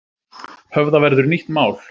Höfða verður nýtt mál